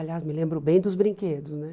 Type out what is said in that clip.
Aliás, me lembro bem dos brinquedos, né?